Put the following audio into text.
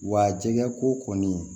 Wa jɛgɛ ko kɔni